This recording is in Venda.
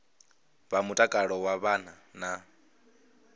vha mutakalo wa vhana na